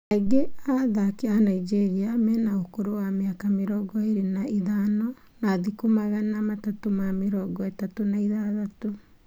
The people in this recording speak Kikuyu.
Aingĩ a athaki a Nigeria mena ũkũrũ wa mĩaka mĩrongo ĩrĩ na ĩtano na thikũ magana matatũ na mĩrongo ĩtatũ na ithathatũ.